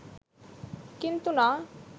কিন্তু না